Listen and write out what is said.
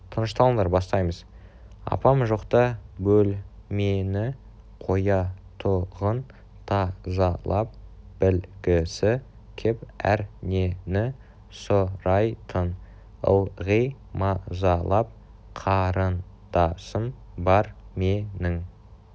тынышталыңдар бастаймыз апам жоқ-та бөл-ме-ні қоя-тұ-ғын та-за-лап біл-гі-сі кеп әр-не-ні сұ-рай-тын ыл-ғи ма-за-лап қа-рын-да-сым бар ме-нің